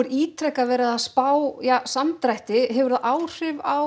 ítrekað verið að spá samdrætti hefur það áhrif á